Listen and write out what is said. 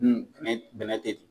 bɛnɛ bɛnɛ tɛ